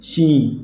Sin